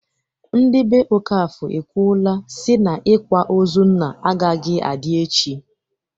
Ndị be Okafọr ekwuola si na ikwa ozu nna agaghịzi adị echi.